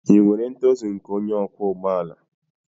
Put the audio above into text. Ị nwere ntozu nke onye ọkwọ ụgbọ ala